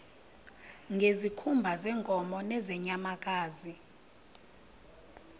ngezikhumba zeenkomo nezeenyamakazi